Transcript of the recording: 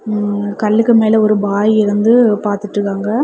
ம கல்லுக்கு மேல ஒரு பாய் இருந்து பாத்துட்டு வாங்க.